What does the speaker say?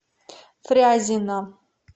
фрязино